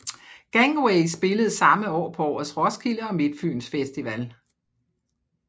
Gangway spillede samme år på årets Roskilde og Midtfyns Festival